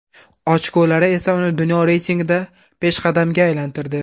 Ochkolari esa uni dunyo reytingida peshqadamga aylantirdi.